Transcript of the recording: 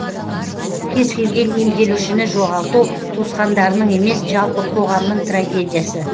кез келген емделушіні жоғалту туысқандарының емес жалпы қоғамның трагедиясы